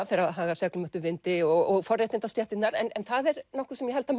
fer að haga seglum eftir vindi og forréttindastéttirnar en það er nokkuð sem ég held að